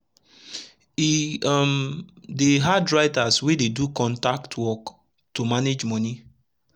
e um dey hard writers wey dey do contact work to manage moni